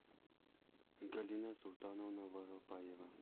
галина султановна воропаева